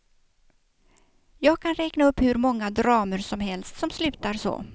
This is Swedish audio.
Jag kan räkna upp hur många dramer som helst som slutar så.